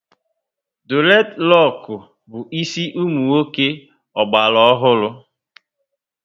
Dured roku bu ịsị umunwoke ogbala ọhụrụ